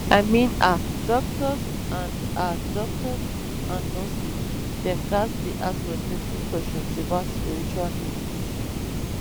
i mean ah doctors and ah doctors and nurses dem ghats dey ask respectful questions about spiritual needs